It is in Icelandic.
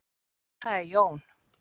Það er Jón.